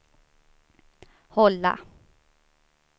hålla